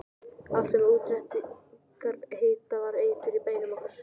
Allt sem útréttingar heita var eitur í beinum okkar.